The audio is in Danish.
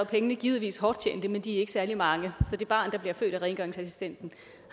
pengene givetvis hårdt tjente men de er ikke særlig mange så det barn der bliver født af rengøringsassistenten